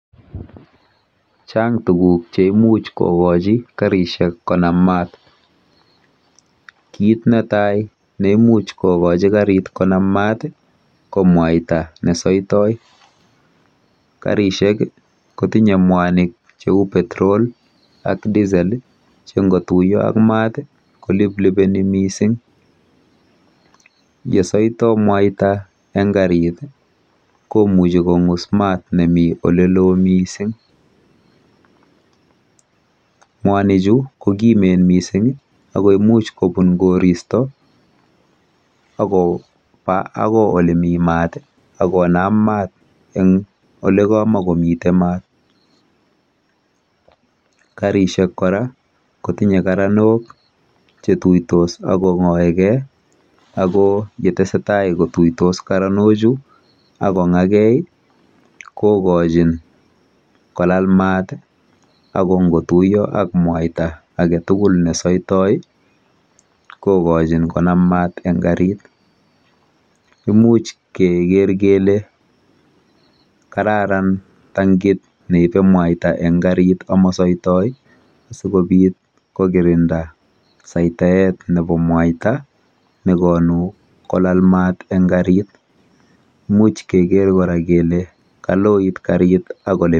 Chang tuguk cheimuchi kokochi karishek konam mat. Kit netai neimuch kokochi karit konam mat ko mwaita nesoitoi. Karishek kotinye mwanik cheu petrol ak diesel che ngotuiyo ak mat koliplipeni mising. Yesoitoi mwaita eng karit komuchi kong'us mat nemi olelo mising mwanichu kokimen mising ako imuch kobun koristo akopa akoi olemi mat akonam mat eng olekamakomite mat. Karishek kora kotinye karanok chetuitos akong'oekei ako yetesetai kotuitos karanochu akong'oekei kokochin kolal mat ako ngotuiyo ak mwaita aketugul nesoitoi kokochin konam mat eng karit. Imuch keker kele kararan tankit neibe mwaita eng karit amasoitoi asikobit kokirinda saitaet nebo mwaita nekonu kolal mat eng karit. Imuch keker kora kele kaloit karit ak...